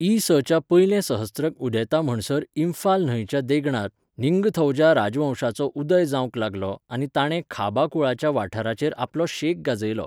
इ.स.च्या पयलें सहस्त्रक उदेता म्हणसर इम्फाल न्हंयच्या देंगणांत निंगथौजा राजवंशाचो उदय जावंक लागलो आनी ताणें खाबा कुळाच्या वाठाराचेर आपलो शेक गाजयलो.